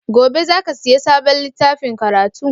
Gobe za ka siya sabon littafin karatu?